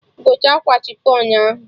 Gote akwa chifọn ahụ!